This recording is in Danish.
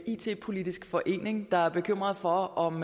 it politisk forening der er bekymret for om